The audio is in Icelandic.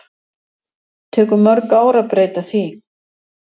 Tekur mörg ár að breyta því